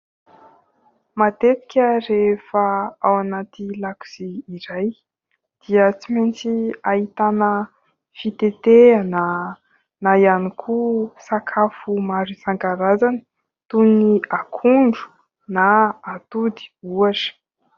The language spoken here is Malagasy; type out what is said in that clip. Matetika rehefa ao anaty lakozia iray dia tsy maintsy ahitana fitetehana na ihany koa sakafo maro isan-karazany toy ny akondro na atody ohatra.